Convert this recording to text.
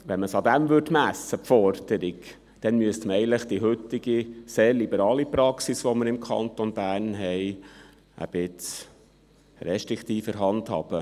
Wenn man die Forderung daran messen würde, dann müsste man eigentlich die heutige, sehr liberale Praxis, die wir im Kanton Bern haben, ein wenig restriktiver handhaben.